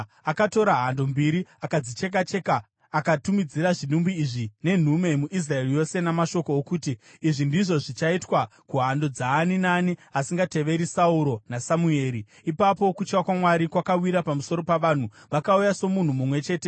Akatora hando mbiri, akadzicheka-cheka, akatumidzira zvidimbu izvi nenhume muIsraeri yose, namashoko okuti, “Izvi ndizvo zvichaitwa kuhando dzaani naani asingateveri Sauro naSamueri.” Ipapo kutya kwaMwari kwakawira pamusoro pavanhu, vakauya somunhu mumwe chete.